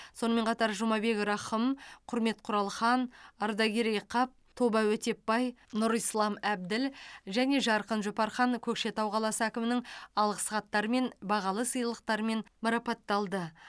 сонымен қатар жұмабек рахым құрмет құралхан ардакерей қап тоба өтепбай нұрислам әбділ және жарқын жұпархан көкшетау қаласы әкімінің алғыс хаттарымен бағалы сыйлықтарымен марапатталды